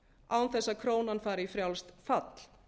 án þess að krónan fari í frjálst fall